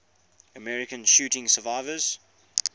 american shooting survivors